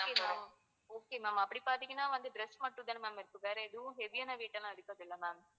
okay ma'am அப்படி பார்த்திங்கன்னா வந்து dress மட்டும்தான இருக்கும் வேற எதுவும் heavy ஆன weight எல்லாம் இருக்காதுல்ல ma'am